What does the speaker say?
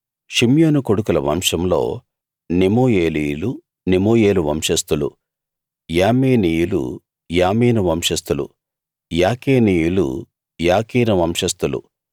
షిమ్యోను కొడుకుల వంశంలో నెమూయేలీయులు నెమూయేలు వంశస్థులు యామీనీయులు యామీను వంశస్థులు యాకీనీయులు యాకీను వంశస్థులు